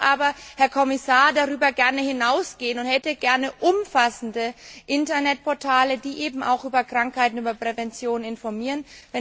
Ich möchte aber, Herr Kommissar, darüber gern hinausgehen und hätte gern umfassende Internetportale, die eben auch über Krankheiten, über Prävention informieren.